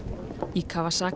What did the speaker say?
í